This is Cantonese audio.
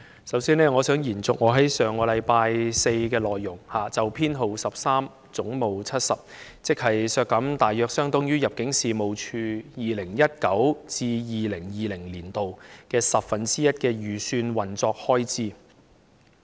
首先，我想延續我在上星期四就有關總目70的修正案，即削減大約相當於 2019-2020 年度入境事務處的十分之一預算運作開支的發言。